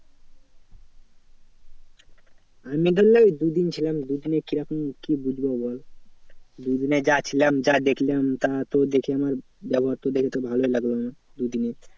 আমি ধরলে দুদিন ছিলাম দুদিনে কিরকম কি বুঝবো বল? দুদিনে যা ছিলাম যা দেখলাম তা তো দেখে আমার ব্যবহার তো দেখে ভালোই লাগলো আমার দুদিনে।